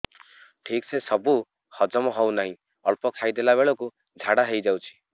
ଠିକସେ ସବୁ ହଜମ ହଉନାହିଁ ଅଳ୍ପ ଖାଇ ଦେଲା ବେଳ କୁ ଝାଡା ହେଇଯାଉଛି